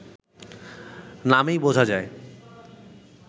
নামেই বোঝা যায়